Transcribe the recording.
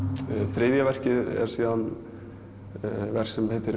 þriðja verkið er verk sem heitir